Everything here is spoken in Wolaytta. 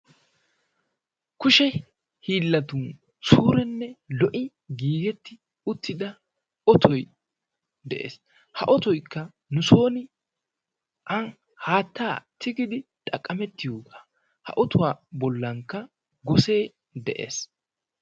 Kushe hiillatun suurenne lo'i giigetti uttida otoy de'ees. Ha otoyikka nusooni an haattaa tigidi xaqqamettiyoogaa. Ha otuwa bollankka gosee de'es.